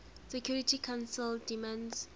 security council demands